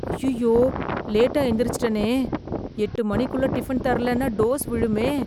ஐயையோ, லேட்டா எந்திரிச்சிட்டனே, எட்டு மணிக்குள்ள டிபன் தரலன்னா டோஸ் விழுமே.